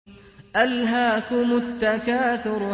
أَلْهَاكُمُ التَّكَاثُرُ